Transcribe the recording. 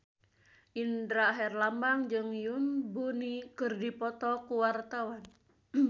Indra Herlambang jeung Yoon Bomi keur dipoto ku wartawan